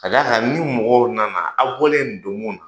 K'a d'a kan ni mɔgɔw nana aw bɔlen ni don kun na,